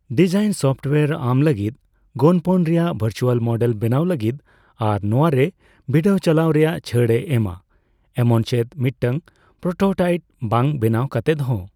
Design software ᱟᱢᱞᱟᱹᱜᱤᱫ ᱜᱚᱱᱯᱚᱱ ᱨᱮᱭᱟᱜ ᱵᱷᱟᱨᱪᱩᱣᱟᱞ ᱢᱚᱰᱮᱹᱞ ᱵᱮᱱᱟᱣ ᱞᱟᱜᱤᱫ ᱟᱨ ᱱᱚᱣᱟ ᱨᱮ ᱵᱤᱰᱟᱹᱣ ᱪᱟᱞᱟᱣ ᱨᱮᱭᱟᱜ ᱪᱷᱟᱹᱲᱼᱮ ᱮᱢᱟ, ᱮᱢᱚᱱ ᱪᱮᱫ ᱢᱤᱫᱴᱟᱝ ᱯᱨᱳᱴᱳᱴᱟᱭᱤᱴ ᱵᱟᱝ ᱵᱮᱱᱟᱣ ᱠᱟᱛᱮᱫ ᱦᱚᱸ ᱾